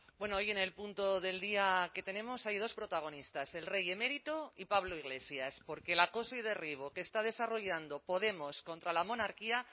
bueno hoy en el punto del día que tenemos hay dos protagonistas el rey emérito y pablo iglesias porque el acoso y derribo que está desarrollando podemos contra la monarquía